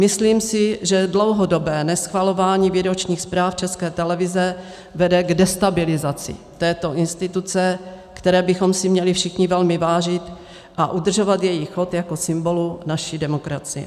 Myslím si, že dlouhodobé neschvalování výročních zpráv České televize vede k destabilizaci této instituce, které bychom si měli všichni velmi vážit a udržovat její chod jako symbolu naší demokracie.